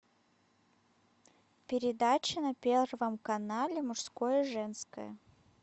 передача на первом канале мужское женское